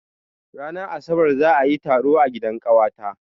Ranar asabar za a yi taro a gidan ƙawata.